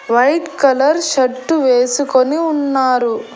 White colour shirt వేసుకొని ఉన్నారు.